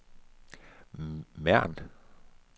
Mern